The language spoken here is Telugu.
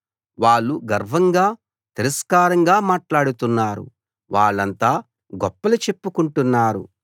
వాళ్ళు గర్వంగా తిరస్కారంగా మాట్లాడుతున్నారు వాళ్ళంతా గొప్పలు చెప్పుకుంటున్నారు